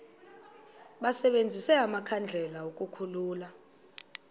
basebenzise amakhandlela ukukhulula